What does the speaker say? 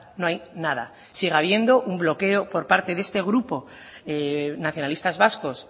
no hay nada sigue habiendo un bloqueo por parte de este grupo nacionalistas vascos